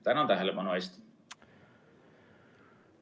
Tänan tähelepanu eest!